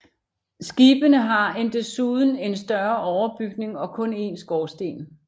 Skibene har en desuden en større overbygning og kun en skorsten